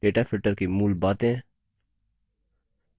data filtering की मूल बातें